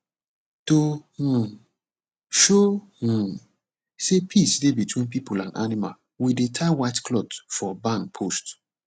to um show um say peace dey between people and animals we dey tie white cloth for barn post